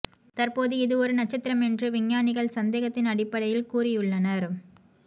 தற்போது இது ஒரு நட்சத்திரம் என்று விஞ்ஞானிகள் சந்தேகத்தின் அடிப்படையில் கூறியுள்ளனர்